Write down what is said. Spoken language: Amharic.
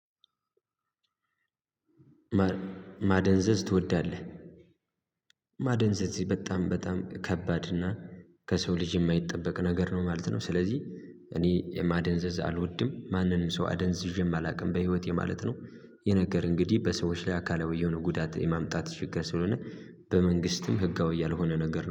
ማደንዘዝ ትወዳለህ? ማደንዘዝ ይሄ በጣም በጣም ከባድ እና ከሰው ልጅ የማይጠበቅ ነገር ነው ማለት ነው። ስለዚህ እኔ ማደንዘዝ አልወድም ማንም ሰው አደንዝዤም አላቅም በህይወት ማለት ነው። ይህ ነገር እንግዲህ በሰዎች ላይ አካላዊ የሆነ ጉዳት የማምጣት ችግር ስለሆነ በመንግስትም ህጋዊ ያልሆነ ነገር ነው